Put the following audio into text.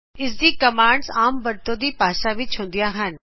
ਇਸ ਦੀ ਕਮਾਂਡਜ਼ ਆਮ ਵਰਤੋਂ ਦੀ ਭਾਸ਼ਾ ਵਿੱਚ ਹੁੰਦੁਆਂ ਹਨ